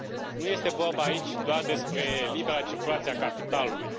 Nu este vorba aici doar despre libera circulație a capitalului.